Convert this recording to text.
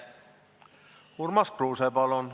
Urmas Kruuse, palun!